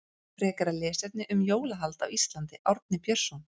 Frekara lesefni um jólahald á Íslandi Árni Björnsson.